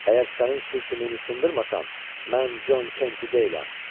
Əgər sənin sür-sümüyünü sındırmasam, mən Con Kenti deyiləm.